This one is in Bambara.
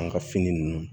An ka fini nunnu